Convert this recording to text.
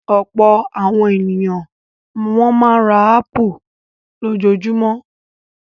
Ọ̀pọ̀ àwọn ènìyàn ni wọ́n máa ń ra ápù lójoojúmọ́.